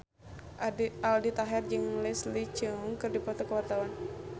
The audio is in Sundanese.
Aldi Taher jeung Leslie Cheung keur dipoto ku wartawan